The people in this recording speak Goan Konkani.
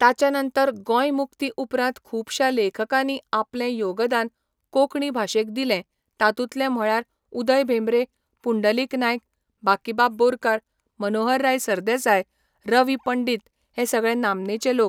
ताच्या नंतर गोंय मुक्ती उपरांत खुबशा लेखकांनी आपलें योगदान कोंकणी भाशेक दिलें तातूंतले म्हळ्यार उदय भेंब्रे, पुंडलीक नायक, बाकीबाब बोरकार, मनोहरराय सरदेसाय, र. वी. पंडीत हे सगळे नामनेचे लोक